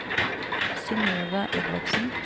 Synøve Edvardsen